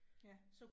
Ja